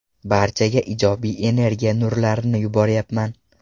Barchaga ijobiy energiya nurlarini yuboryapman.